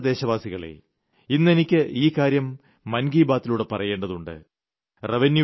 എന്റെ പ്രിയപ്പെട്ട ദേശവാസികളേ ഇന്നെനിക്ക് ഈ കാര്യം മൻ കി ബാതിലൂടെ പറയേണ്ടതുണ്ട്